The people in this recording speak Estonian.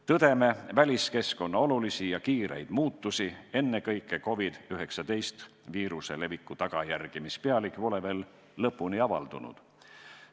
Tõdeme väliskeskkonna olulisi ja kiireid muutusi, ennekõike COVID-19 viiruse leviku tagajärgi, mis pealegi pole veel lõpuni avaldunud.